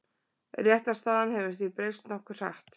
Réttarstaðan hefur því breyst nokkuð hratt.